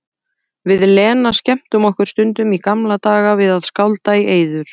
Við Lena skemmtum okkur stundum í gamla daga við að skálda í eyður.